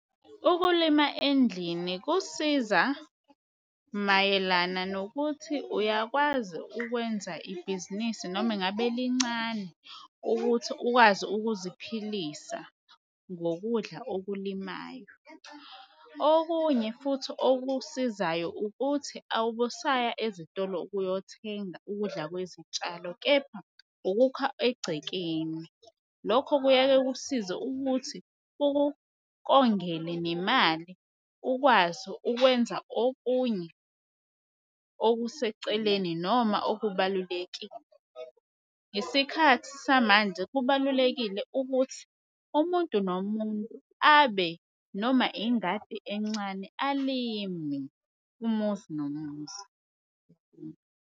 Ukulima endlini kusiza mayelana nokuthi uyakwazi ukwenza ibhizinisi noma ngabe lincane ukuthi ukwazi ukuziphilisa ngokudla okulimayo. Okunye futhi okusizayo ukuthi awubusaya ezitolo uyothenga ukudla kwezitshalo, kepha ukukhula egcekeni lokho kuyaye kusize ukuthi ukukongele nemali ukwazi ukwenza okunye okuseceleni noma okubalulekile. Isikhathi samanje kubalulekile ukuthi umuntu nomuntu abe noma ingadi encane alime umuzi nomuzu.